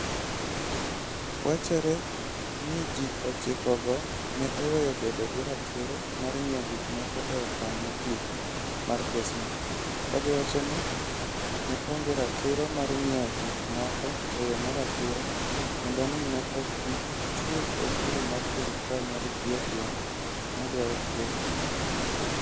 Wachore ni ji ochikogo ne oweyo bedo gi ratiro mar ng'iewo gik moko e okang ' mogik mar kesno, ka giwacho ni ne onge ratiro mar ng'iewo gik moko e yo ma ratiro kendo ni ne ok gichul osuru ma sirkal mar Ethiopia ne dwaro kuomgi.